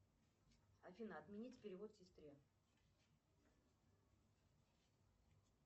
афина отменить перевод сестре